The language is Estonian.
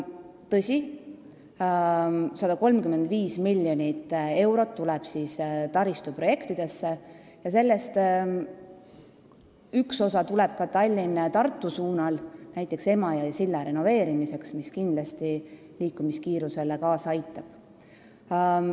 Tõsi, 135 miljonit eurot tuleb taristuprojektidesse ja sellest üks osa kulutatakse ka Tallinna–Tartu suunal, näiteks Emajõe silla renoveerimiseks, mis kindlasti liikumiskiiruse kasvule kaasa aitab.